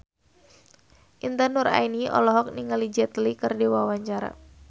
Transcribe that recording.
Intan Nuraini olohok ningali Jet Li keur diwawancara